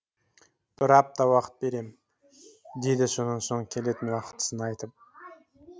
бір апта уақыт беремін деді сонан соң келетін уақытысын айтып